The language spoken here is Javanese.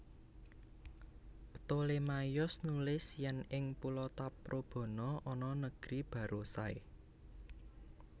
Ptolemaios nulis yèn ing pulo Taprobana ana negeri Barousai